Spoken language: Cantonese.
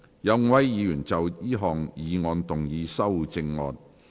有5位議員要就這項議案動議修正案。